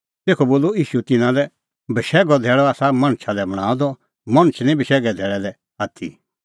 तेखअ बोलअ ईशू तिन्नां लै बशैघो धैल़अ आसा मणछा लै बणांअ द मणछ निं बशैघे धैल़ै लै आथी